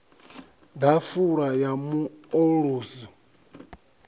ḓafula ya mu o ulusi